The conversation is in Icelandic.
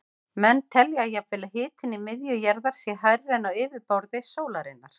Menn telja jafnvel að hitinn í miðju jarðar sé hærri en á yfirborði sólarinnar.